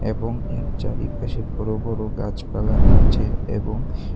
এবং এর চারিপাশে বড় বড় গাছপালা আছে এবং--